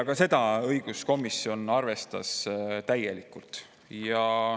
Ka seda õiguskomisjon arvestas täielikult.